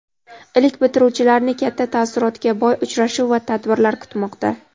Ilk bitiruvchilarni katta taassurotga boy uchrashuv va tadbirlar kutmoqda.